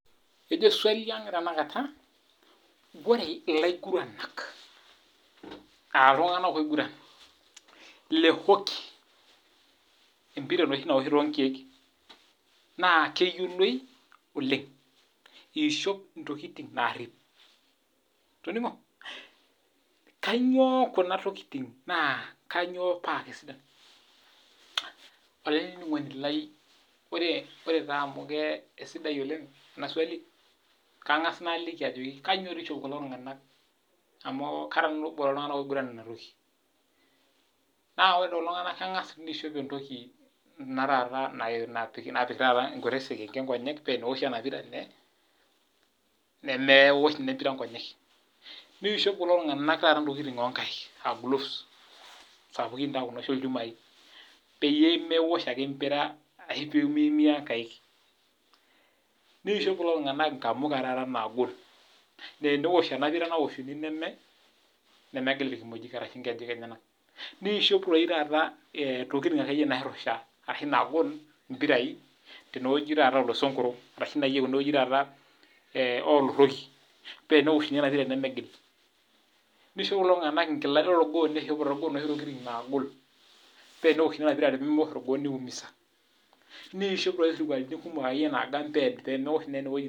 Kejo swali ang tanakata ore elaiguranak aa iltung'ana oiguran lee hockey empira enoshi naoshi too nkeek naa keyioloi ole eishopo ntokitin narip toningo kainyio Kuna tokitin naa kainyio paa sidan olainining'oni lai ore amu kaisidai ena swali]kayieu nang'as nalaki Ajo kainyio doi eishopo kulo tung'ana amu Kara nanu obo loo iltung'ana oiguran ena toki naa ore taa ore lelo tung'ana keng'as aishoo entoki napik taata Kuna sekenke napik Nkonyek paa eteneoshi ena pira nemeosh ena pira Nkonyek neishop kulo tung'ana ntokitin oo nkaik aa gooves sapukin nooshi olchumari pee meosho ake empira pee miumia ake nkaik nishop kulo tung'ana enkamuka taata nagol naa tenosh ena pira naoshunk nemigil irkimojik arashu nkejek enyana nishop akeyie taata ntokitin nairusha ashu nagol mpirai tenewueji oo losongoro arashu tenewueji oloroki paa teneoshuni ena pira nemegil nishop enkilank torgoo nishop enoshi tokitin naagol paa teneoshuni ena pira paa teneosh orgoo nimiumksea nishop isirkulini kumok nagam pee meosho ede wueji